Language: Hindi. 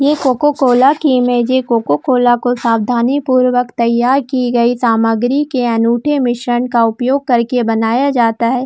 यह कोको कोला की इमेज है कोको कोला को सावधानी पूर्वक तैयार की गई सामग्री के अनूठे मिश्रण का उपयोग करके बनाया जाता है।